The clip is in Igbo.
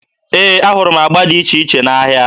Ee, ahụrụ m agba dị iche iche n'ahịa.